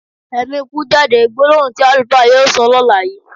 Ẹ̀mi ikú jáde! Gbólóhùn tí àlùfáà yóò sọ lọ́la yìí.